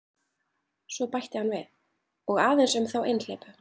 Svo bætti hann við: Og aðeins um þá einhleypu.